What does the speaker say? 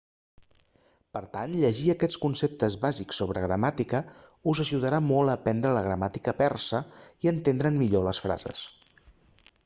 per tant llegir aquests conceptes bàsics sobre gramàtica us ajudarà molt a aprendre la gramàtica persa i a entendre'n millor les frases